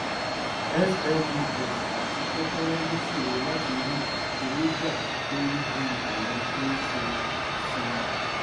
smes àti kékèké ló ṣòro láti rí owó gbà kò rí bí àwọn tó ń san. san.